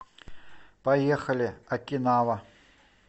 поехали окинава